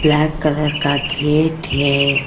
Black colour का gate है।